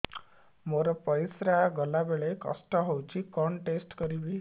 ମୋର ପରିସ୍ରା ଗଲାବେଳେ କଷ୍ଟ ହଉଚି କଣ ଟେଷ୍ଟ କରିବି